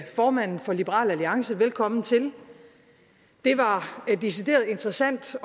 formanden for liberal alliance velkommen til det var decideret interessant